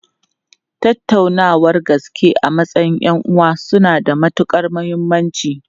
Tattaunawar gaske a matsayin 'yan'uwa suna da matukar muhimmanci.